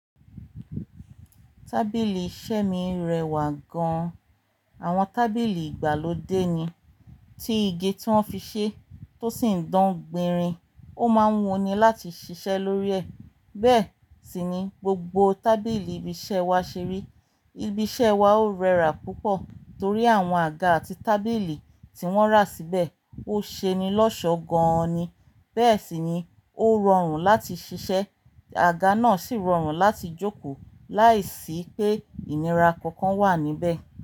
Tábìlì iṣẹ́ mi rẹwà gan-an. Àwọn tábìlì ìgbàlódé ni, tí igi tí wọ́n fi ṣe tó sì ń dán gbinrin, ó máa ń wuni láti ṣiṣẹ́ lórí ẹ̀. Bẹ́ẹ̀ sì ni, gbogbo tábìlì ibi iṣẹ́ wa ṣeri. Ibi iṣẹ́ wa ó rẹwà púpọ̀ torí àwọn àga àti tábìlì tí wọ́n ra síbẹ̀ ó ṣe'ni lọ́ṣọ gan-an ni. Bẹ́ẹ̀ sì ni, ó rọrùn láti ṣiṣẹ́, àga náà sì rọrùn láti jókòó láìsí pé ìnira kankan wà níbẹ̀